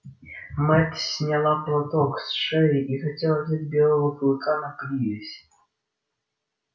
мэтт сняла платок с шеи и хотел взять белого клыка на привязь